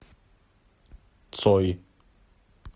цой